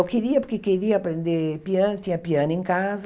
Eu queria, porque queria aprender piano, tinha piano em casa.